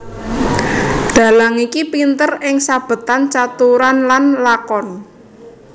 Dhalang iki pinter ing sabetan caturan lan lakon